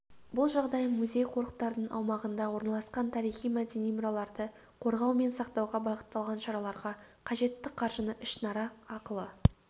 бұл жағдай музей-қорықтардың аумағында орналасқан тарихи-мәдени мұраларды қорғау мен сақтауға бағытталған шараларға қажетті қаржыны ішінара ақылы